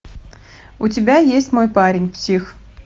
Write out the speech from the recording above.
у тебя есть мой парень псих